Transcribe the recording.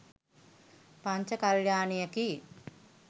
පංච කල්‍යාණියකි.